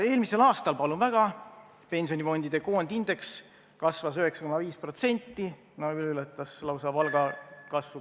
Eelmisel aastal, palun väga, pensionifondide koondindeks kasvas 9,5%, ületas lausa palgakasvu.